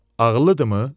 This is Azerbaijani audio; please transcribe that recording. Ağıllıdımı?